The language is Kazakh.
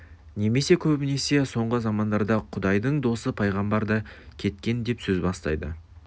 немесе көбінесе соңғы замандарда құдайдың досы пайғамбар да кеткен деп сөз бастайды